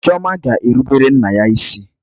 Chioma ga-erubere nna ya isi?